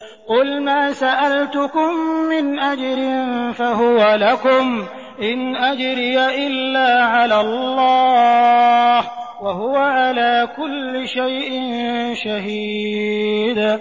قُلْ مَا سَأَلْتُكُم مِّنْ أَجْرٍ فَهُوَ لَكُمْ ۖ إِنْ أَجْرِيَ إِلَّا عَلَى اللَّهِ ۖ وَهُوَ عَلَىٰ كُلِّ شَيْءٍ شَهِيدٌ